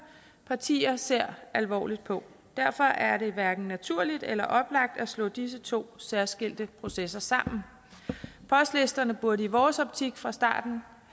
partier ser alvorligt på derfor er det hverken naturligt eller oplagt at slå disse to særskilte processer sammen postlisterne burde i vores optik fra starten